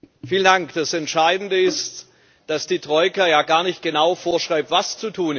Das Entscheidende ist, dass die Troika ja gar nicht genau vorschreibt, was zu tun ist.